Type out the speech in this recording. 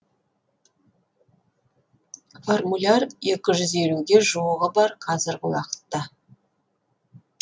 формуляр екі жүз елуге жуығы бар қазіргі уақытта